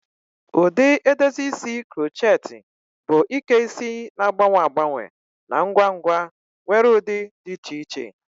Ụdị edozi isi crochet bụ Ike isi na-agbanwe agbanwe na ngwa ngwa nwere ụdị dị iche iche.